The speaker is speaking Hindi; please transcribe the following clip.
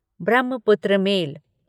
ब्रह्मपुत्र मेल